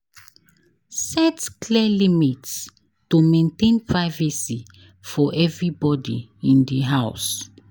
Set clear limits to maintain privacy for everybody in the house.